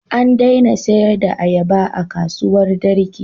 An daina sayar da ayaba a kasuwar Darki.